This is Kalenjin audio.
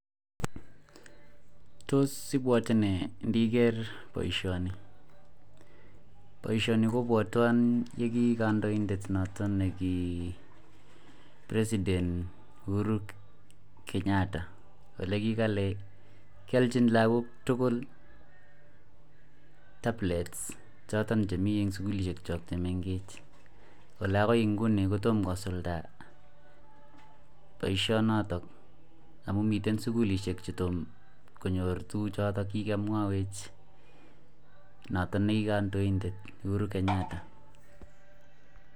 Tos ibwate me Niger baishoni baishoni kobwatwon nekikandoindet noton nekipresident uhuru Kenyatta olekikale kiyalchin lagok tugul tablet choton chemi en sugulishek chemengechen Kole agoi nguninkotoma kosulda baishoniton amun miten sugulishek chetoma konyor akomwawech Noto NE ki kandoindet Uhuru Kenyatta.